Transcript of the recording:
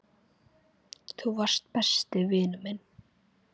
Þú varst besti vinur minn.